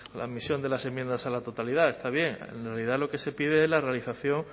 la misión de las enmiendas a la totalidad está bien en realidad lo que se pide es la realización